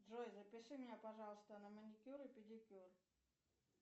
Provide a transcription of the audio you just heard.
джой запиши меня пожалуйста на маникюр и педикюр